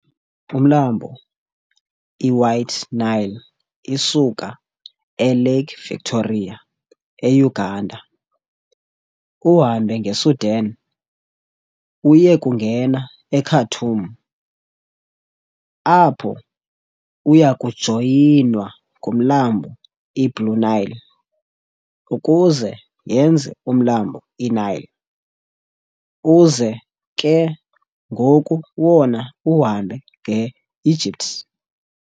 Umlambo i-White Nile isuka eLake Victoria e-Uganda, uhambe ke nge-Sudan uyekungena e-Khartoum, apho uyakujoyinwa ngumlambo i-Blue Nile ukuze yenze umlambo i-Nile, uze ke ngoku wona uhambe nge Egypt.